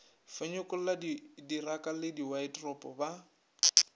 fenyekolla diraka le diwaeteropo ba